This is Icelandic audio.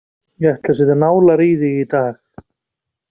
Ég ætla að setja nálar í þig í dag.